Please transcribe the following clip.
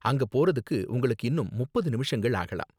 அங்க போறதுக்கு உங்களுக்கு இன்னும் முப்பது நிமிஷங்கள் ஆகலாம்.